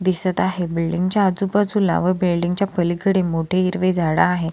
दिसत आहे बिल्डिंग च्या आजूबाजूला व बिल्डिंग च्या पलीकडे मोठे हिरवे झाड आहे.